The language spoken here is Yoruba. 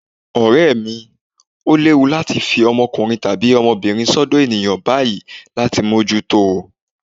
Ọ̀rẹ́ mi, ó léwu láti fi ọmọbìnrin tàbí ọmọkùnrin sọ́dọ̀ ènìyàn báyìí láì mójútó o.